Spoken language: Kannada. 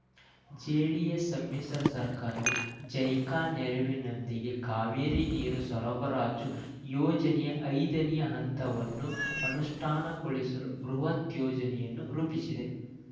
ಜೆಡಿಎಸ್ ಸಮ್ಮಿಶ್ರ ಸರ್ಕಾರವು ಜೈಕಾ ನೆರವಿನೊಂದಿಗೆ ಕಾವೇರಿ ನೀರು ಸರಬರಾಜು ಯೋಜನೆಯ ಐದನೇ ಹಂತವನ್ನು ಅನುಷ್ಠಾನಗೊಳಿಸಲು ಬೃಹತ್ ಯೋಜನೆಯನ್ನು ರೂಪಿಸಿದೆ